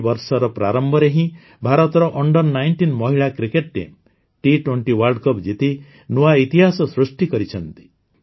ଏହି ବର୍ଷର ପ୍ରାରମ୍ଭରେ ହିଁ ଭାରତର Under19 ମହିଳା cricket team T20 world cup ଜିତି ନୂଆ ଇତିହାସ ସୃଷ୍ଟି କରିଛନ୍ତି